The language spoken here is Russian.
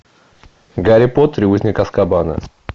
гарри поттер и узник азкабана